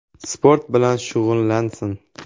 Sport bilan shug‘ullansin.